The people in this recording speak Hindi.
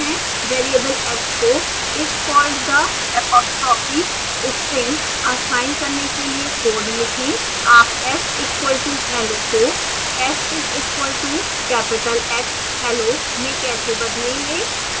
1 वेरिएबल s को is called the apostrophe string assign करने के लिए कोड लिखें